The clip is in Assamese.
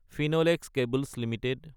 Finlex cables Ltd